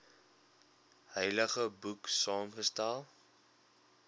heilige boek saamgestel